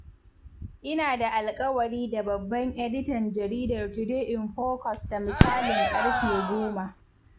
Ina da alƙawari da babban editan Jaridar Today in Focus da misalin ƙarfe goma.